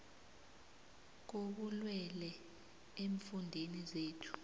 kobulwele eemfundeni zethu